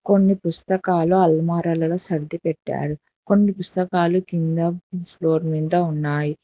కొన్ని పుస్తకాలు అల్మారాలలో సర్ది పెట్టారు కొన్ని పుస్తకాలు కింద ఫ్లోర్ మింద ఉన్నాయి.